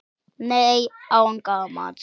Nei, án gamans.